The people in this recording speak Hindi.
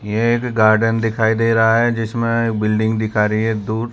यह एक गार्डन दिखाई दे रहा है जिसमें बिल्डिंग दिखा रही है दूर।